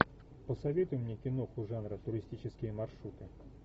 посоветуй мне киноху жанра туристические маршруты